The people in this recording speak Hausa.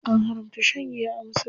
An haramta shan giya a musulunci.